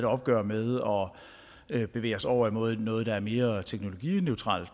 opgør med og bevæge os over imod noget der er mere teknologineutralt